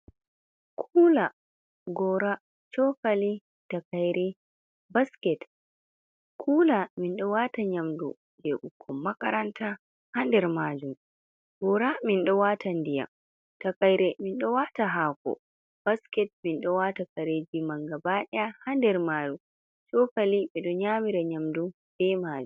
Kula, gora, , chokali, takaire, baskit. Kula mindowata yamdu bukon makaranta ha nder majun, gora min do wata ndyan, takaire min dowata hako, basket min dowata kareji man gabaɗeya ha nder maju, cokali midu yamira yamdu be maju.